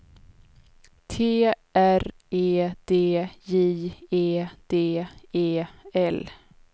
T R E D J E D E L